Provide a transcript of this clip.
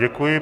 Děkuji.